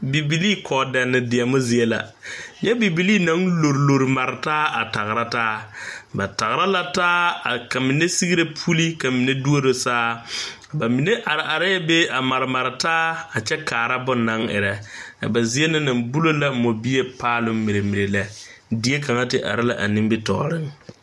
Bibilee kɔɔdɛne deɛne zie la nyɛ bibilee naŋ lorlor mare taa a tagera taa ba tagera la taa ka mine segre puli ka mine duoro saa ba mine arɛɛ be a maremare taa kyɛ kaara bonaŋ erɛ a ba zie na naŋ bulo la moɔ bie paaloŋ mire mire lɛ die kaŋ te are la a nimitɔɔriŋ.